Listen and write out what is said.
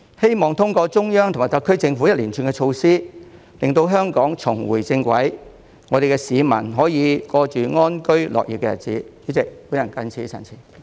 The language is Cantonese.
希望通過中央及特區政府一連串措施，令香港重回正軌，市民可以過着安居樂業的日子。